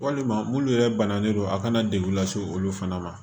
Walima minnu yɛrɛ banalen don a kana degun lase olu fana ma